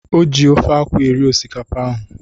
O ji ofe akwụ eri osikapa ahụ.